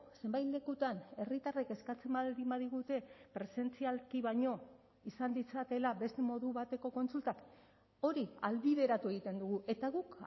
zenbait lekutan herritarrek eskatzen baldin badigute presentzialki baino izan ditzatela beste modu bateko kontsulta hori ahalbideratu egiten dugu eta guk